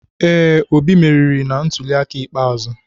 Ee, Obi meriri na ntuliaka ikpeazụ.